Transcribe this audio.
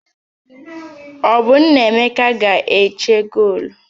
Ọ bụ Nnaemeka ga-eche goolu?